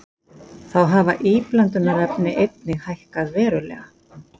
Þá hafa íblöndunarefni einnig hækkað verulega